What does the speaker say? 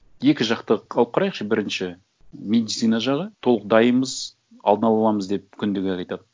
екі жақты қылып қарайықшы бірінші медицина жағы толық дайынбыз алдын ала аламыз деп күнде айтады